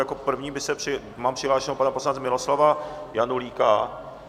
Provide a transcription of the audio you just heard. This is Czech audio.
Jako prvního mám přihlášeného pana poslance Miloslava Janulíka.